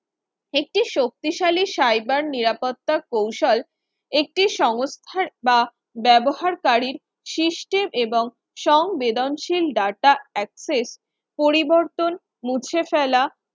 একটি শক্তিশালী cyber নিরাপত্তা কৌশল একটি সংস্থার বা ব্যবহারকারী system এবং সংবেদনশীল Data access পরিবর্তন মুছে ফেলা